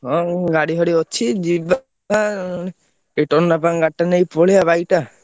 ହଁ ଉଁ ଗାଡି ଫାଡି ଅଛି ଯିବା ଏ ଟନାପାଙ୍କ ଗାଡି ଟା ନେଇ ପଳେଇଆ bike ଟା।